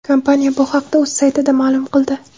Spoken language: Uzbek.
Kompaniya bu haqda o‘z saytida ma’lum qildi.